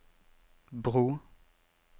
bro